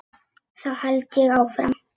Þá held ég áfram.